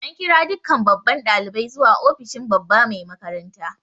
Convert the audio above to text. An kira dukkan babban dalibai zuwa ofishin babba Mai makaranta.